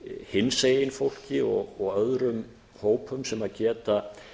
hinsegin fólki og öðrum hópum sem geta